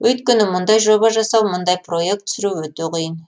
өйткені мұндай жоба жасау мұндай проект түсіру өте қиын